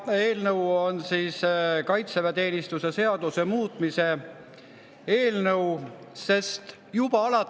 Eelnõu on kaitseväeteenistuse seaduse muutmise eelnõu.